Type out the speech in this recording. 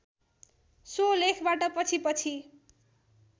so लेखबाट पछिपछि